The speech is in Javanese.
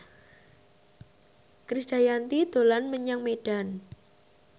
Krisdayanti dolan menyang Medan